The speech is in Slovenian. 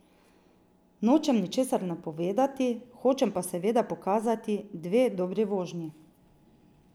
Nočem ničesar napovedovati, hočem pa seveda pokazati dve dobri vožnji.